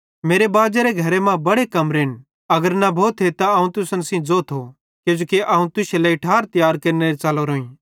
मेरे बाजेरे घरे मां बड़े कमरेन अगर न भोथी त अवं तुसन सेइं ज़ोथो किजोकि अवं तुश्शे लेइ ठार तियार केरने च़लोरोईं